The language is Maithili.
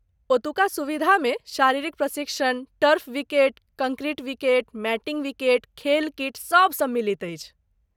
ओतुका सुविधामे शारीरिक प्रशिक्षण, turf wicket, concrete wicket, matting wicket, खेल किट सभ सम्मिलित अछि।